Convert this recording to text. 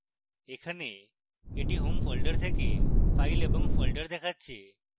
এখানে এটি home folder থেকে files এবং folder দেখাচ্ছে